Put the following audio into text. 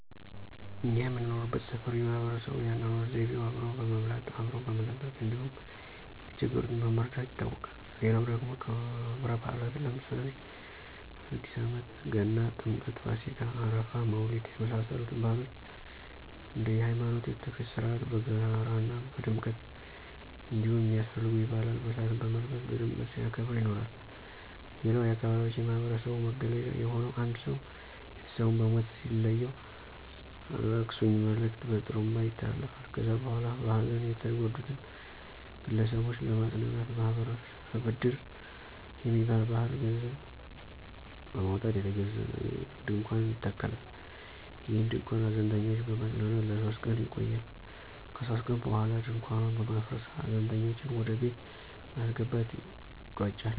እኛ የምንኖርበት ሠፈር የማህበረሰቡ የአኖኖር ዘይቤው አብሮ በመብላት፣ አብሮ በመጠጣት እንዲሁም የተቸገሩትን በመርዳት ይታወቃል። ሌላው ደግሞ ከብረባእላትን ለምሳሌ አዲስአመት፣ ገና፣ ጥምቀት፣፣ ፋሲካ፣ አረፋ፣ መውሊድ የመሳሰሉትን ባህሎች እንደየሀይማኖቱ የቱፊት ሥርአት በጋራ ና በድምቀት እንዲሁም የሚያስፈልጉ የባህል አልባሳትን በመልበስ በድምቀት ሲያከብር ይኖራል። ሌላው የአካባቢያችን የማህበረሰቡ መገለጫ የሆነው አንድ ሰው ቤተሰቡን በሞት ሲለየው የአላቅሱኝ መልእክት በጥሩንባ ይተላለፋል ከዚያ በኋላ በሀዘን የተጎዱትን ግለሰቦች ለማጽናናት ማህበረሰብ እድር በሚባል ባህል ገንዘብ በማውጣት የተገዛ ድንኳን ይተከላል። ይህ ድንኳን ሀዘንተኞችን በማፅናናት ለሶስት ቀን ይቆያል ከሶስት ቀን በኋላ ድንኳኑን በማፍረስ ሀዘንተኞችን ወደቤት በማስገባት ይቋጫል።